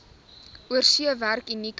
oorsee werk unieke